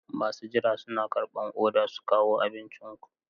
Masu jira suna karɓan odar ku su kawo abincin ku.